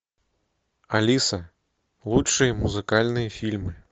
алиса лучшие музыкальные фильмы